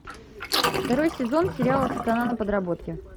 второй сезон сериала страна на подработке